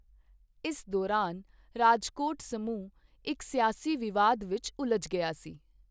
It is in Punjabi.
ਇਸ ਦੌਰਾਨ ਰਾਜਕੋਟ ਸਮੂਹ ਇੱਕ ਸਿਆਸੀ ਵਿਵਾਦ ਵਿੱਚ ਉਲਝ ਗਿਆ ਸੀ।